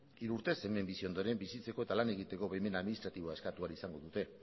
hiru urtez hemen bizi ondoren bizitzeko eta lan egiteko baimena administratiboa eskatu ahal izango dute